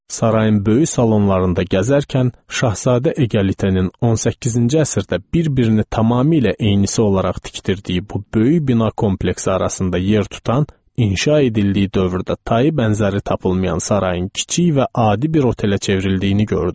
Sarayın böyük salonlarında gəzərkən Şahzadə Egəlitenin 18-ci əsrdə bir-birini tamamilə eynisi olaraq tikdirdiyi bu böyük bina kompleksi arasında yer tutan, inşa edildiyi dövrdə tayı bənzəri tapılmayan Sarayın kiçik və adi bir otelə çevrildiyini gördüm.